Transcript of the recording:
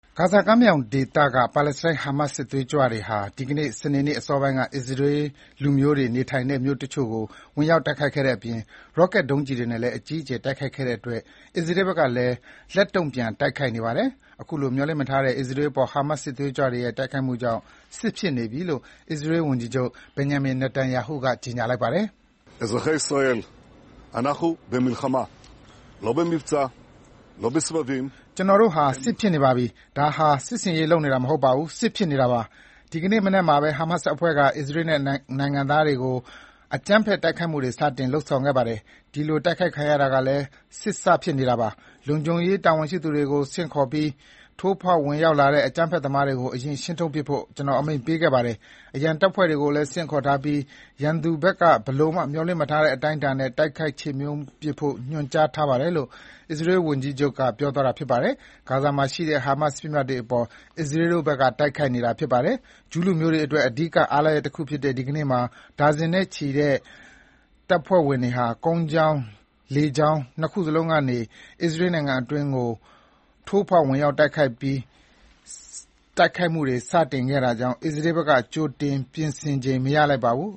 ဂါဇာကမ်းမြောင်ဒေသက ပါလက်စတိုင်း Hamas စစ်သွေးကြွတွေဟာ ဒီနေ့စနေနေ့ အစောပိုင်းက အစ္စရေးလူမျိုးတွေနေထိုင်တဲ့ မြို့တချို့ကို ဝင်ရောက်တိုက်ခိုက်ခဲ့တဲ့အပြင် Rocket ဒုံးကျည်တွေနဲ့လည်း အကြီးအကျယ်တိုက်ခိုက်ခဲ့တဲ့အတွက် အစ္စရေးဘက်ကလည်း လက်တုံ့ပြန် တိုက်ခိုက်နေပါတယ်။ ခုလို မျှော်လင့်မထားဘဲ အစ္စရေးအပေါ် Hamas စစ်သွေးကြွတွေရဲ့ တိုက်ခိုက်မှုကြောင့် စစ်ဖြစ်နေပြီလို့ အစ္စရေးဝန်ကြီးချုပ် Benjamin Netanyahu က ကြေညာလိုက်ပါတယ်။ “ကျနော်တို့ဟာ စစ်ဖြစ်နေပါပြီ။ ဒါဟာ စစ်ဆင်ရေးလုပ်နေတာ မဟုတ်ပါဘူး။ စစ်ဖြစ်နေတာပါ။ ဒီကနေ့မနက်မှာဘဲ Hamas အဖွဲ့က အစ္စရေးနဲ့ နိုင်ငံသားတွေကို အကြမ်းဖက်တိုက်ခိုက်မှုတွေ စတင် လုပ်ဆောင်ခဲ့ပါတယ်။ အဲဒီလို တိုက်ခိုက်ခံရကတည်းက စစ်စဖြစ်နေတာပါ။ လုံခြုံရေးတာဝန်ရှိသူတွေကို ကျနော် ဆင့်ခေါ်ခဲ့ပြီး ထိုးဖောက် ဝင်ရောက်လာတဲ့ အကြမ်းဖက်သမားတွေကို အရင် ရှင်းထုတ်ပစ်ဖို့ အမိန့်ပေးခဲ့ပါတယ်။ အရံတပ်ဖွဲ့တွေကိုလည်း ဆင့်ခေါ်ထားပြီး ရန်သူဘက်က ဘယ်လိုမှ မျှော်လင့်မထားတဲ့အတိုင်းအတာနဲ့ တိုက်ခိုက် ချေမှုန်းပစ်ဖို့ ညွန်ကြားထားပါတယ်” - လို့ အစ္စရေးဝန်ကြီးချုပ် Benjamin Netanyahu က ပြောသွားပါတယ်။ ဂါဇာမှာရှိတဲ့ Hamas ပစ်မှတ်တွေအပေါ် အစ္စရေးတို့ဘက်က တိုက်ခိုက်နေပါတယ်။ ဂျူးလူမျိုးတို့အတွက် အဓိက အားလပ်ရက်တခုဖြစ်တဲ့ ဒီကနေ့မှာ ဒါဇင်နဲ့ချီတဲ့ Hamas တပ်ဖွဲ့ဝင်တွေဟာ ကုန်းကြောင်း၊ လေကြောင်း ၂ ခုစလုံးကနေ အစ္စရေးနိုင်ငံအတွင်းကို ထိုးဖောက် ဝင်ရောက်ခဲ့ပြီး တိုက်ခိုက်မှုတွေ စတင်ခဲ့တာကြောင့် အစ္စရေးဘက်က ကြိုတင် ပြင်ဆင်ချိန် မရလိုက်ပါဘူး